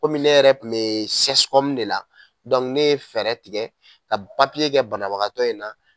Komi ne yɛrɛ kun bɛ CSCOM ne ye fɛɛrɛ tigɛ ka papiye kɛ banabagatɔ in na.